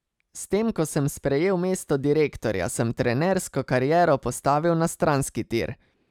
S tem, ko sem sprejel mesto direktorja, sem trenersko kariero postavil na stranski tir.